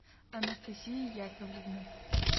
анастасия яковлевна